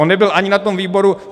On nebyl ani na tom výboru.